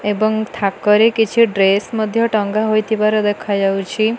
ଏବଂ ଥାକ ରେ କିଛି ଡ୍ରେସ୍ ଟଙ୍ଗା ହୋଇଥିବା ଦେଖା ଯାଉଛି।